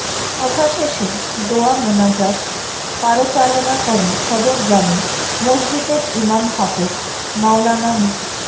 সভা শেষে দোয়া মোনাজাত পারচালনা করেন সদর জামে মসজিদের ইমাম হাফেজ মাওলানা মো